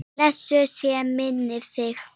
Blessuð sé minning þín!